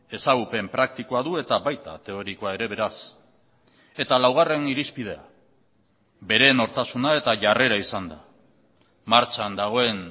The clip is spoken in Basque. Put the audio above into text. ezagupen praktikoa du eta baita teorikoa ere beraz eta laugarren irizpidea bere nortasuna eta jarrera izan da martxan dagoen